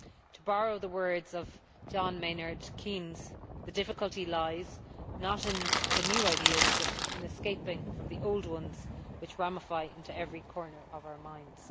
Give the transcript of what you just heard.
To borrow the words of John Maynard Keynes, the difficulty lies not in the new ideas but in escaping from the old ones which ramify into every corner of our minds.